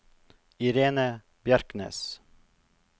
Irene Bjerknes